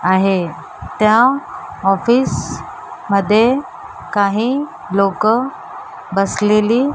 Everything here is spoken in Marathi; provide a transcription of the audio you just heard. आहे त्या ऑफिस मध्ये काही लोकं बसलेली --